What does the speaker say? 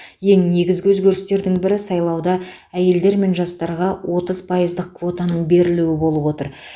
ең негізгі өзгерістердің бірі сайлауда әйелдер мен жастарға отыз пайыздық квотаның берілуі болып отыр